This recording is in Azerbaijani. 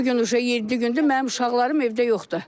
İndi bu gün yeddi gündür mənim uşaqlarım evdə yoxdur.